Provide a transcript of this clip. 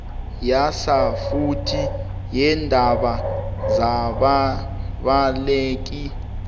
yasafuthi yeendaba zababaleki